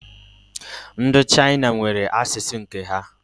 Ndi China nwere asusu nke ha